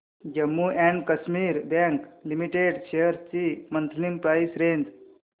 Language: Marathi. Jammu and Kashmir bank limited shares ची मंथली प्राइस रेंज